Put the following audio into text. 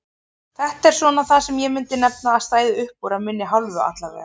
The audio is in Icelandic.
Þetta er svona það sem ég myndi nefna að stæði uppúr af minni hálfu allavega.